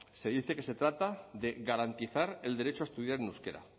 se dice que se trata de garantizar el derecho a estudiar en euskera